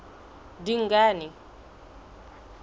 dingane